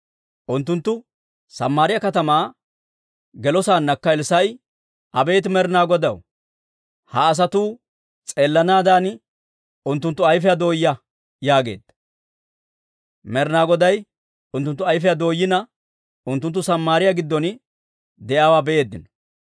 Unttunttu Samaariyaa katamaa gelosaannakka Elssaa'i, «Abeet Med'ina Godaw, ha asatuu s'eelanaadan unttunttu ayfiyaa dooyaa» yaageedda. Med'ina Goday unttunttu ayfiyaa dooyina, unttunttu Samaariyaa giddon de'iyaawaa be'eeddino.